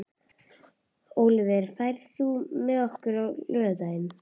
Ólíver, ferð þú með okkur á laugardaginn?